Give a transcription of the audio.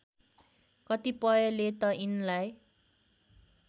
कतिपयले त यिनलाई